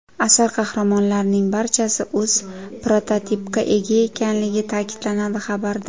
Asar qahramonlarining barchasi o‘z prototipga ega ekanligi ta’kidlanadi xabarda.